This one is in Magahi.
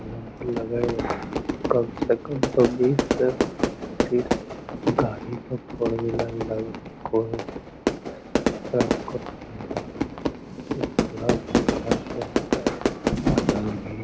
कम से कम तो बीस से पच्चीस गाडी तो फोर व्हीलर लग रात को एक पूरा बढ़िया से बनल भी --